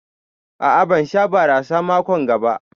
A'a ban Sha barasa mako'n ga ba.